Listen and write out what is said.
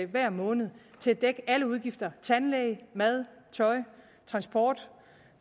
hver måned til at dække alle udgifter tandlæge mad tøj transport